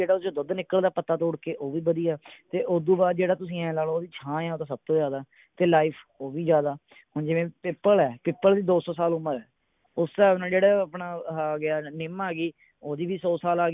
ਜਿਹੜਾ ਉਸਦੇ ਵਿੱਚੋਂ ਦੁੱਧ ਨਿੱਕਲਦਾ ਹੈ ਪੱਤਾ ਤੋੜ ਕੇ ਉਹ ਵੀ ਵਧੀਆ ਤੇ ਓਦੂੰ ਬਾਅਦ ਜਿਹੜਾ ਤੁਸੀਂ ਐਂ ਲਾ ਲੋ ਵੀ ਛਾਂ ਹੈ ਤਾਂ ਸਭ ਤੋਂ ਜਿਆਦਾ ਤੇ life ਉਹ ਵੀ ਜਿਆਦਾ ਹੁਣ ਜਿਵੇਂ ਪਿੱਪਲ ਹੈ ਪਿੱਪਲ ਦੀ ਦੋ ਸੌ ਸਾਲ ਉਮਰ ਹੈ ਉਸ ਹਿਸਾਬ ਨਾਲ ਜਿਹੜਾ ਆਪਣਾ ਆਹਾ ਆ ਗਿਆ ਨਿੱਮ ਆ ਗਈ ਉਹਦੀ ਵੀ ਸੋ ਸਾਲ ਆ